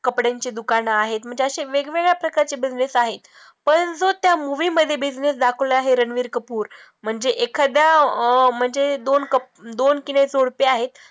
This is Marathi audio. कपड्यांचे दुकानं आहेत, म्हणजे असे वेगवेगळ्या प्रकारचे business आहेत परंतु त्या movie मध्ये business दाखवला आहे रणबीर कपूर म्हणजे एखाद्या अं म्हणजे दोन कप दोन आहेत,